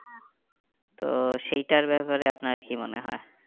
তো সেইটার ব্যাপারে আপনার কি মনে হয়?